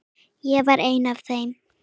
Ég var ein af þeim.